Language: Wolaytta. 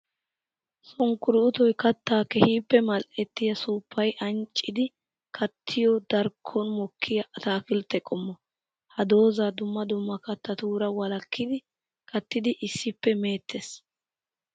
Sunkkuruuttoy katta keehippe mali'ettiya suufayi ancciddi kattiyo darkkon mokkiya ataakiltte qommo. Ha doozaa dumma dumma kattatura walakiddi kattiddi issippe meettes.